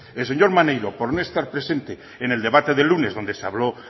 el señor maneiro por no estar presente en el debate del lunes donde se habló